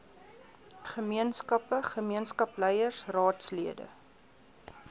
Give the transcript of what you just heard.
gemeenskappe gemeenskapsleiers raadslede